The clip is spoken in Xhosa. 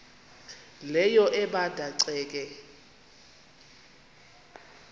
leyo ebanda ceke